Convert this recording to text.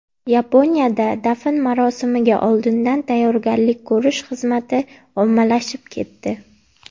Yaponiyada dafn marosimiga oldindan tayyorgarlik ko‘rish xizmati ommalashib ketdi.